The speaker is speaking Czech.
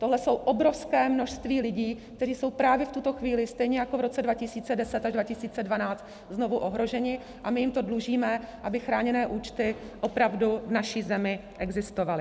Tohle je obrovské množství lidí, kteří jsou právě v tuto chvíli stejně jako v roce 2010 až 2012 znovu ohroženi, a my jim to dlužíme, aby chráněné účty opravdu v naší zemi existovaly.